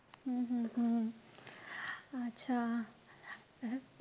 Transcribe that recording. हम्म हम्म हम्म अच्छा.